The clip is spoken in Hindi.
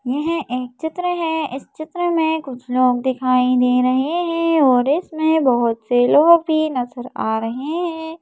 यह एक चित्र है इस चित्र में कुछ लोग दिखाई दे रहे हैं और इसमें बहुत से लोग भी नज़र आ रहे हैं।